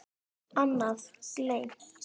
Annað: Gleymt.